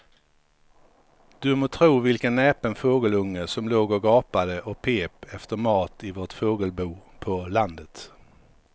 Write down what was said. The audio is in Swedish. Du må tro vilken näpen fågelunge som låg och gapade och pep efter mat i vårt fågelbo på landet.